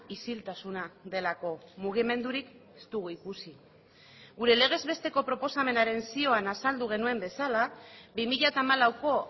isiltasuna delako mugimendurik ez dugu ikusi gure legez besteko proposamenaren zioan azaldu genuen bezala bi mila hamalauko